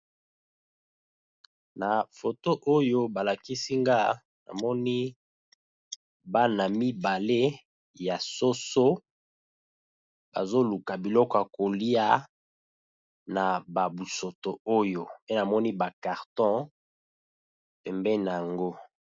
Na foto oyo ba lakisi nga namoni bana mibale ya soso bazo luka biloko ya kolia na ba busoto oyo, pe namoni ba carton pembeni nango.